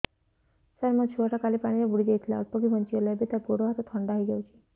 ସାର ମୋ ଛୁଆ ଟା କାଲି ପାଣି ରେ ବୁଡି ଯାଇଥିଲା ଅଳ୍ପ କି ବଞ୍ଚି ଗଲା ଏବେ ତା ଗୋଡ଼ ହାତ ଥଣ୍ଡା ହେଇଯାଉଛି